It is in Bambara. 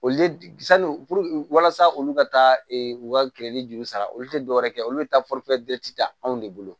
Olu le sanu walasa olu ka taa u ka juru sara olu tɛ dɔwɛrɛ kɛ olu bɛ taa ta anw de bolo